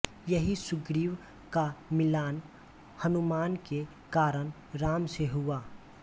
यहीं सुग्रीव का मिलाप हनुमान के कारण राम से हुआ